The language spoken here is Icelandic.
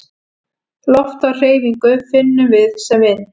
Loft á hreyfingu finnum við sem vind.